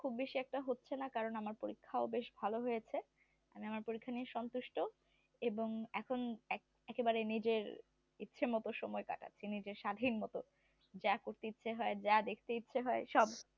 খুব বেশি একটা হচ্ছে না কারণ আমার পরীক্ষাও বেশ ভালো হয়েছে আমি আমার পরীক্ষা নিয়ে সন্তুষ্ট এবং এখন একেবারে নিজের ইচ্ছে মতো সময় কাটাচ্ছি নিজের স্বাধীন মতো যা করতে ইচ্ছে হয় যা দেখতে ইচ্ছে হয় সব